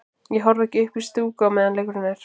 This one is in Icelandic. Ég horfi ekki upp í stúku á meðan leikurinn er.